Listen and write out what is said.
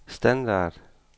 standard